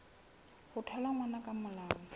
ho thola ngwana ka molao